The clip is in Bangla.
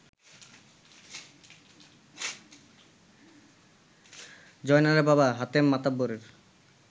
জয়নালের বাবা হাতেম মাতব্বরের